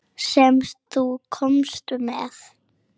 Sem þú komst með.